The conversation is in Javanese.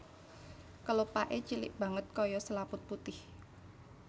Kelopaké cilik banget kaya selaput putih